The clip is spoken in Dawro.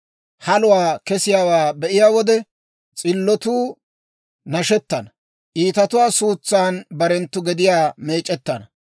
Haluwaa kessiyaawaa be'iyaa wode, s'illotuu nashettana. Iitatuwaa suutsan barenttu gediyaa meec'ettana.